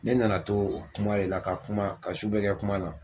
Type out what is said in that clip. Ne nana to kuma de la ka kuma ka su bɛɛ kɛ kuma la